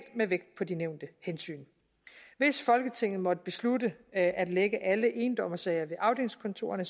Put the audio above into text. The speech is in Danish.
med vægt på de nævnte hensyn hvis folketinget måtte beslutte at at lægge alle endommersager ved afdelingskontorerne